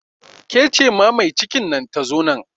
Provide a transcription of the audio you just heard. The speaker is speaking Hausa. Ke ce ma mai cikin nan ta zo nan